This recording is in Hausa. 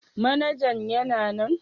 Manajan yana nan?